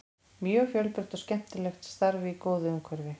Mjög fjölbreytt og skemmtilegt starf í góðu umhverfi.